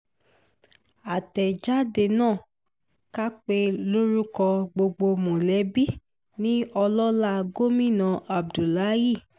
àtẹ̀jáde náà kà pé lórúkọ gbogbo mọ̀lẹ́bí ni ọlọ́lá gómìnà abdullahi a